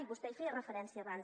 vostè hi feia referència abans